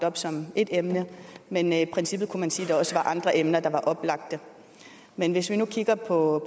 op som ét emne men i princippet kunne man sige at der også var andre emner der var oplagte men hvis vi nu kigger på